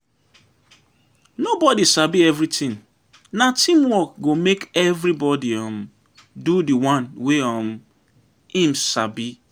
Nobodi sabi everytin, na teamwork go make everybodi um do di one wey um im sabi.